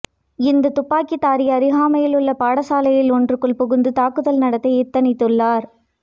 இந்த துப்பாக்கிதாரி அருகாமையில் உள்ள பாடசாலை ஒன்றுக்குள் புகுந்து தாக்குதல் நடத்த எத்தனித்துள்ளார்